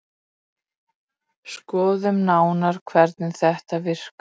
Skoðum nánar hvernig þetta virkar.